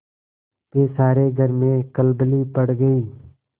फिर सारे घर में खलबली पड़ गयी